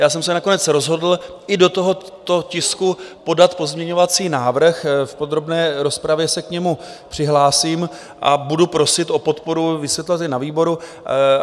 Já jsem se nakonec rozhodl i do tohoto tisku podat pozměňovací návrh, v podrobné rozpravě se k němu přihlásím, a budu prosit o podporu, vysvětlovat i na výboru.